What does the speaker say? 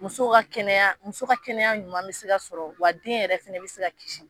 Muso ka kɛnɛya, muso ka kɛnɛya ɲuman bɛ se ka sɔrɔ, wa den yɛrɛ fana bɛ se ka kisi.